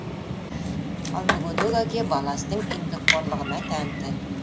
ал мүгедек әке баласының еңбекқорлығына тәнті